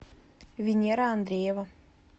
венера андреева